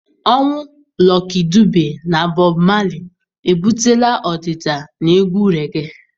Ọnwụ Lucky Dube na Bob Marley ebutela ọdịda na egwu regee.